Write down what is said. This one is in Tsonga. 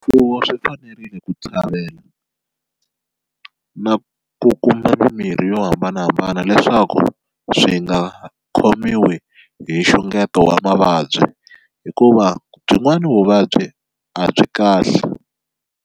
Swifuwo swi fanerile ku na ku kuma mimirhi yo hambanahambana leswaku swi nga khomiwi hi nxungeto wa mavabyi hikuva byin'wani vuvabyi a byi kahle.